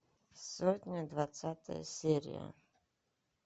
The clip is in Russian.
сотня двадцатая серия